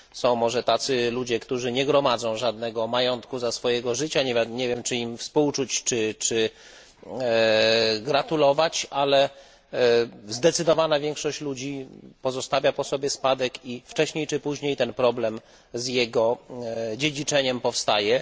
Są może tacy ludzie, którzy nie gromadzą żadnego majątku za swojego życia nie wiem, czy im współczuć, czy gratulować ale zdecydowana większość ludzi pozostawia po sobie spadek i, wcześniej czy później, ten problem z jego dziedziczeniem powstaje.